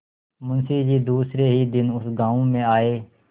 मुँशी जी दूसरे ही दिन उस गॉँव में आये